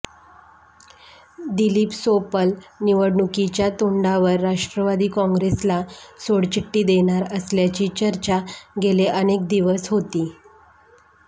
दिलीप सोपल निवडणुकीच्या तोंडावर राष्ट्रवादी कॉंग्रेसला सोडचिठ्ठी देणार असल्याची चर्चा गेले अनेक दिवस होती